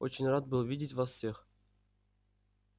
очень рад был видеть вас всех